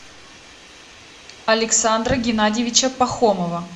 александра геннадьевича пахомова